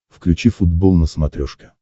включи футбол на смотрешке